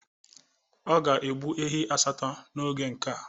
Ọ ga-egbu ehi asatọ n'oge nke a.